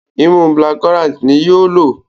imú black currant ní yóò ló.